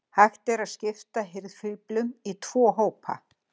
Hægt er að skipta hirðfíflum í tvo hópa.